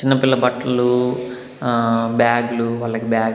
చిన్నపిల్ల బట్లు ఆ బ్యాగ్లు వాళ్లకు బ్యాగ్ --